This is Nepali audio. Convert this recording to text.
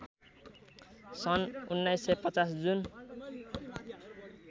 सन् १९५० जुन